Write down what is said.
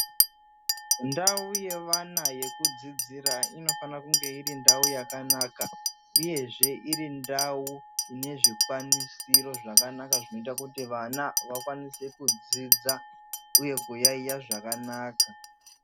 Ndau yevana yekudzidzira inofana kunge iri ndau yakanaka uyezve irindau inezvikwanisiro zvakanaka zvinoita kuti vana vakwanise kudzidza uye kuyayiya zvakanaka.